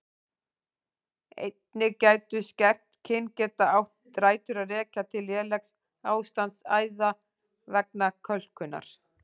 Einnig getur skert kyngeta átt rætur að rekja til lélegs ástands æða vegna kölkunar.